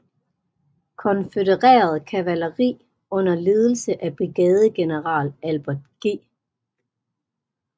Konfødereret kavaleri under ledelse af brigadegeneral Albert G